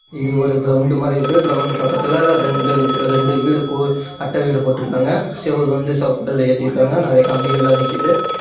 இங்க ஒரு கிரவுண்டு மாரி இருக்கு கிரவுண்டுக்கு பக்கத்துல ரெண்டு ரெண்டு வீடு பூ அட்டவீடு போட்டு இருக்காங்க செவுரு வந்து சிவப்பு கள்ள ஏத்தி இருக்காங்க நிறைய கம்பிகள் லாம் நிக்குது.